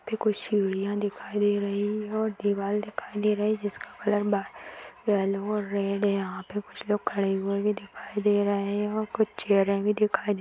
मेरे को सीढ़ियाँ दिखाई दे रही है दीवाल दिखाई दे रहे है जिसका कलर बार येलो और रेड यहाँ पर कुछ लोग खड़े हुए भी दिखाई दे रहे है और कुछ चेयरे भी दिखाई दे रहे है।